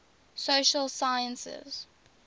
social sciences